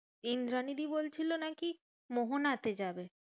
ইন্দ্রানীদি বলছিলো নাকি মোহনাতে যাবে।